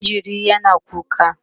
jinjirin yana kuka